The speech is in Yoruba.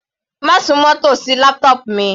Má súnmọ́ tòsí laptop mi.